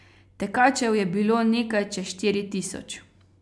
Tekačev je bilo nekaj čez štiri tisoč.